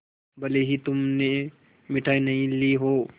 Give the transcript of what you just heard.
भले ही तुमने मिठाई नहीं ली हो